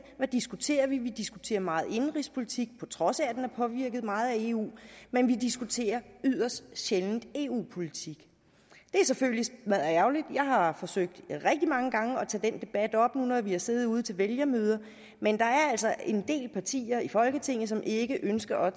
hvad diskuterer vi så vi diskuterer meget indenrigspolitik på trods af at den er påvirket meget af eu men vi diskuterer yderst sjældent eu politik det er selvfølgelig smadderærgerligt jeg har forsøgt rigtig mange gange at tage den debat op når vi har siddet ude til vælgermøder men der er altså en del partier i folketinget som ikke ønsker